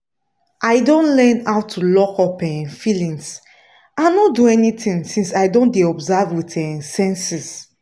i don learn how to lockup um feelings and no do anything since i don dey observe with um sensings